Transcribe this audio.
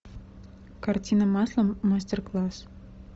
картина маслом мастер класс